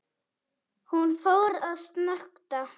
Hún fór að snökta.